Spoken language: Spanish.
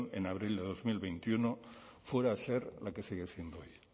en abril de dos mil veintiuno fuera a ser la que sigue siendo hoy